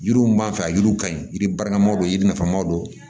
Yiriw m'an fɛ yan yiriw ka ɲi yiri baramaw don yiri nafa ma don